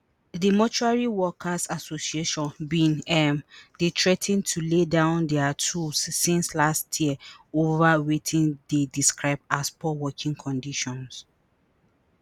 di mortuary workers association bin um dey threa ten to lay down dia tools since last year ova wetin dey describe as poor working conditions